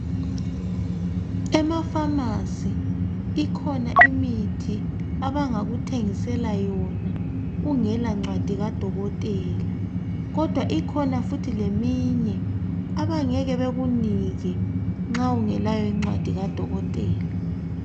Emafamasi ikhona imithi abangakuthengisela yona ungelancwadi kadokotela kodwa ikhona futhi leminye abangeke bekunike nxa ungelayo incwadi kadokotela.